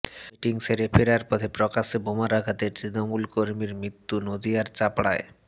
meeting সেরে ফেরার পথে প্রকাশ্যে বোমার আঘাতে তৃণমূলকর্মীর মৃত্যু নদিয়ার চাপড়ায়